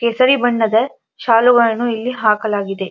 ಕೇಸರಿ ಬಣ್ಣದ ಶಾಲುಗಳನ್ನು ಇಲ್ಲಿ ಹಾಕಲಾಗಿದೆ.